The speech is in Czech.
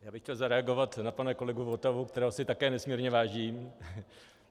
Já bych chtěl zareagovat na pana kolegu Votavu, kterého si také nesmírně vážím.